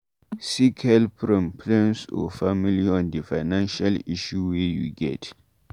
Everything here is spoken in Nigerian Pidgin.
Seek help from friends or family on di financial issue wey you get